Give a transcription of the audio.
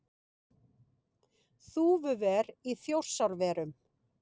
Þúfuver í Þjórsárverum.